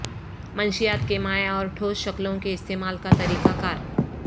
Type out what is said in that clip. منشیات کے مائع اور ٹھوس شکلوں کے استعمال کا طریقہ کار